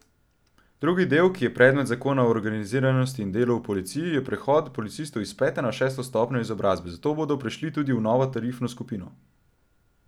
Drugi del, ki je predmet zakona o organiziranosti in delu v policiji, je prehod policistov iz pete na šesto stopnjo izobrazbe, zato bodo prešli tudi v novo tarifno skupino.